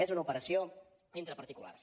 és una operació entre particulars